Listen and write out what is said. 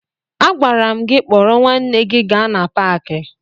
Agwara m gị kpọrọ nwanne gị gaa na paakị!